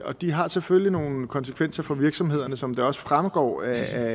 og de har selvfølgelig nogle konsekvenser for virksomhederne som det også fremgår af